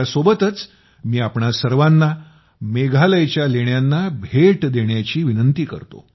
त्या सोबतच मी आपणा सर्वांना मेघालयच्या लेण्यांना भेट देण्याची विनंती करतो